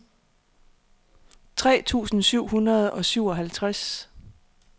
tres tusind syv hundrede og syvoghalvtreds